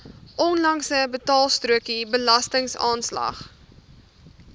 onlangse betaalstrokie belastingaanslag